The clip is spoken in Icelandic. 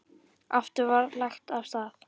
Aftur var lagt af stað.